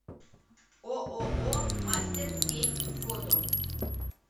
ооо мастер кейк фото